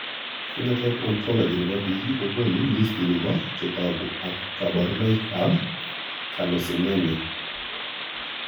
Phenotype ontology nebo biik kokoonou listini bo chetogu ak kaborunoik ab Carnosinemia